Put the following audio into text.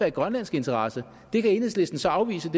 i grønlandsk interesse det kan enhedslisten så afvise